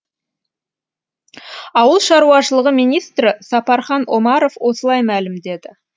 ауыл шаруашылығы министрі сапархан омаров осылай мәлімдеді